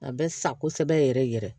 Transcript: A bɛ sa kosɛbɛ yɛrɛ yɛrɛ